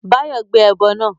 Báyọ̀ gbé ẹbọ náà